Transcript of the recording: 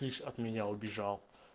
лично от меня убежал